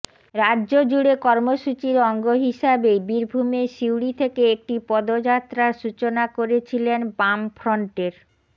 রাজ্য জুড়ে কর্মসূচির অঙ্গ হিসাবে বীরভূমের সিউড়ি থেকে একটি পদযাত্রার সূচনা করেছিলেন বামফ্রন্টের